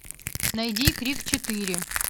найди крик четыре